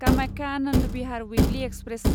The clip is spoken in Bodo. Kamakhya Anand Vihar weekly express